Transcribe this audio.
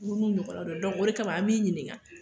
Olu n'u ɲɔgɔn n'aw don o kama an b'i ɲininga